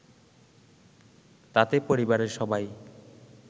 তাতে পরিবারের সবাই